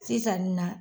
Sisan nin na